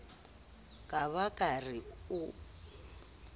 ka ba ke re o